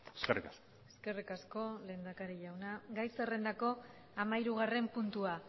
eskerrik asko eskerrik asko lehendakari jauna gai zerrendako hamahirugarren puntua